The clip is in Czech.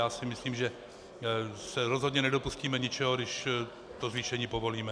Já si myslím, že se rozhodně nedopustíme ničeho, když to zvýšení povolíme.